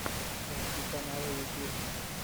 найти каналы ютуб